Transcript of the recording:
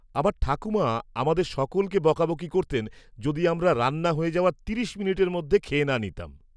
আমার ঠাকুমা আমাদের সকলকে বকাবকি করতেন যদি আমরা রান্না হয়ে যাওয়ার তিরিশ মিনিটের মধ্যে খেয়ে না নিতাম।